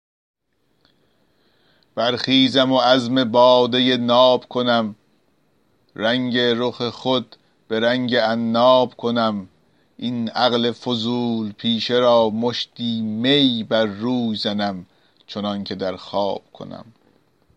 برخیزم و عزم باده ناب کنم رنگ رخ خود به رنگ عناب کنم این عقل فضول پیشه را مشتی می بر روی زنم چنان که در خواب کنم